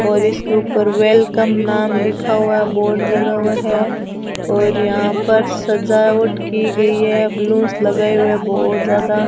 और इसके ऊपर वेलकम नाम लिखा हुआ है बोर्ड लगा हुआ है और यहां पर सजावट की गई है बैलून लगाए हुए बहोत ज्यादा --